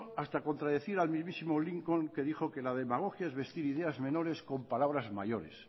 hasta contradecir al mismísimo lincoln que dijo que la demagogia es vestir ideas menores con palabras mayores